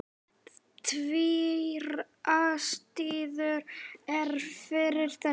Tvær ástæður eru fyrir þessu.